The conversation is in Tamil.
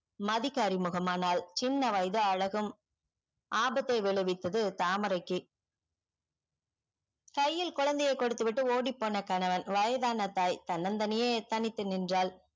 மதிக்கு அறிமுகம் ஆனால் சின்ன வயது அழகும் ஆபத்தை விலைவிப்பது தாமரைக்கு கையில் குழந்தை கொடுத்து விட்டு ஓடிப்போன கணவன் வயதான தாய் தன்னதனியே தனித்து நின்றால்